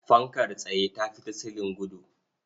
Fankar tsaye ta fi ta silin gudu.